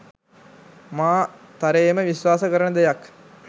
මා තරයේම විශ්වාස කරන දෙයක්